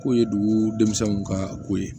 Ko ye dugu denmisɛnninw ka ko ye